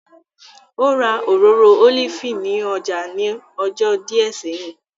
Ó ra Òróró Ólífì ní ọjà ní ọjọ́ díẹ̀ sẹ́yìn